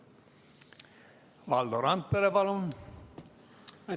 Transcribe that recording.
Valdo Randpere, palun!